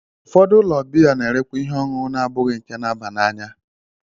Ụfọdụ ụlọ biya na-erekwa ihe ọṅụṅụ na-abụghị nke na-aba n'anya.